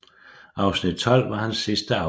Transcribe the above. Afsnit 12 var hans sidste afsnit